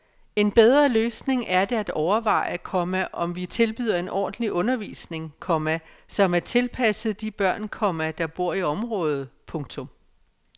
En bedre løsning er det at overveje, komma om vi tilbyder en ordentlig undervisning, komma som er tilpasset de børn, komma der bor i området. punktum